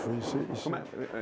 isso, como é que foi